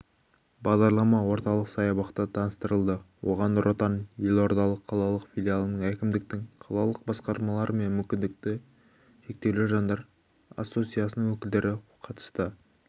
бағдарлама орталық саябақта таныстырылды оған нұр отан елордалық қалалық филиалының әкімдіктің қалалық басқармалар мен мүмкіндігі шектеулі жандар ассоциациясының өкілдері қатысты